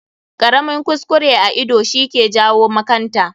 Ƙaramin kuskure a ido shi ke jawo makanta.